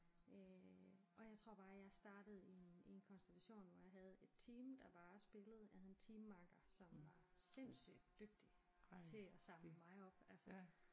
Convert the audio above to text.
Øh og jeg tror bare jeg startede i en i en kontsellation hvor jeg havde et team der bare spillede jeg havde en teammakker som var sindssygt dygtig til at samle mig op altså